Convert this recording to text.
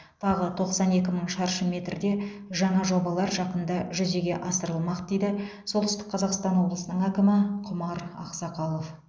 тағы тоқсан екі мың шаршы метрде жаңа жобалар жақында жүзеге асырылмақ дейді солтүстік қазақстан облысы әкімі құмар ақсақалов